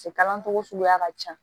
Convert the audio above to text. Se kalan cogo suguya ka ca